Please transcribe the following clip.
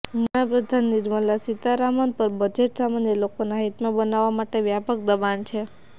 નાણાંપ્રધાન નિર્મલા સીતારામન પર બજેટ સામાન્ય લોકોના હિતમા બનાવવા માટે વ્યાપક દબાણ છે